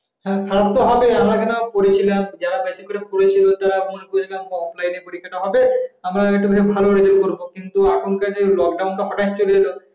যারা বেশি করে পড়াশোনা করেছে যেমন পরীক্ষাটা হবে এখনকার এখনকার দিনে যে lockdown টা